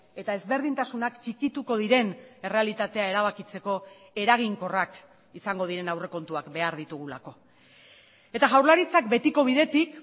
eta ezberdintasunak txikituko diren errealitatea erabakitzeko eraginkorrak izango diren aurrekontuak behar ditugulako eta jaurlaritzak betiko bidetik